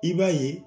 I b'a ye